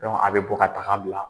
Dɔnku a bɛ bɔ ka taga n bila.